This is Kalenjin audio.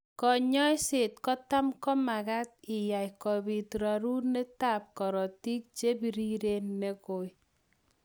Konyoiset kotam komamakat iya kobit rorunetab korotik chebiriren neng'oi.